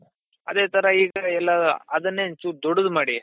ಅದೇ ತರ ಈ ಕಡೆ ಎಲ್ಲಾ ಅದುನ್ನೇ ಒಂದ್ ಚೂರು ದೊಡ್ಡದು ಮಾಡಿ